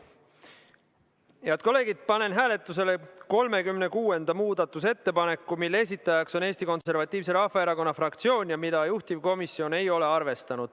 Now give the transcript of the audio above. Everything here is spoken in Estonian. Head kolleegid, panen hääletusele 36. muudatusettepaneku, mille esitaja on Eesti Konservatiivse Rahvaerakonna fraktsioon ja mida juhtivkomisjon ei ole arvestanud.